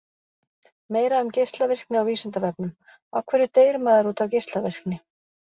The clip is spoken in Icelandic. Meira um geislavirkni á Vísindavefnum: Af hverju deyr maður út af geislavirkni?